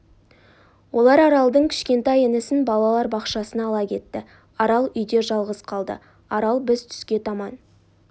олар аралдың кішкентай інісін балалар бақшасына ала кетті арал үйде жалғыз қалды арал біз түске таман